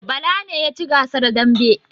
Bala ne ya ci gasar damben